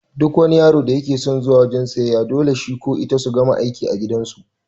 Duk yaron da yake son zuwa wajan siyayya to dole shi ko ita su gama aikin gidan su